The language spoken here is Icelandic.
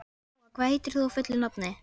Gúa, hvað heitir þú fullu nafni?